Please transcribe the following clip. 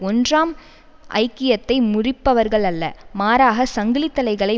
ஒன்றாம் ஐக்கியத்தை முறிப்பவர்கள் அல்ல மாறாக சங்கிலி தளைகளை